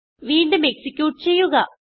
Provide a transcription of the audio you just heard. വീണ്ടും എക്സിക്യൂട്ട് ചെയ്യുക